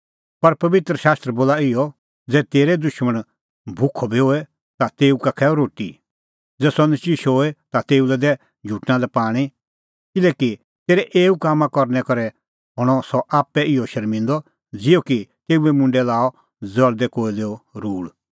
पर पबित्र शास्त्र बोला इहअ ज़ै तेरअ दुशमण भुखअ बी होए ता तेऊ का खैऊऐ रोटी ज़ै सह नचिशअ होए ता तेऊ लै दै झुटणा लै पाणीं किल्हैकि तेरै एऊ कामां करनै करै हणअ सह आप्पै इहअ शर्मिंदअ ज़िहअ कि तेऊए मुंडै लाअ ज़ल़दै कोयलेओ रूल़